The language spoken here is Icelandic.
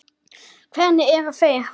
Hvernig eru þeir valdir?